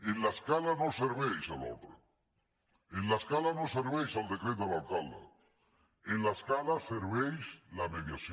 en l’escala no serveix l’ordre en l’escala no serveix el decret de l’alcalde en l’escala serveix la me·diació